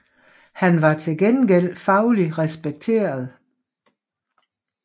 Han var til gengæld faglig respekteret